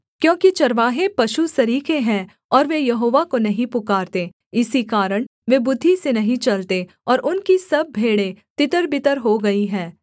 क्योंकि चरवाहे पशु सरीखे हैं और वे यहोवा को नहीं पुकारते इसी कारण वे बुद्धि से नहीं चलते और उनकी सब भेड़ें तितरबितर हो गई हैं